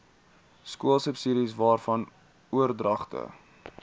skoolsubsidies waarvan oordragte